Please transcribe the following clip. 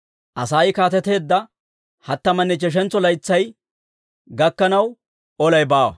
Asay kaateteedda hattamanne ichcheshantso laytsay gakkanaw olay baawa.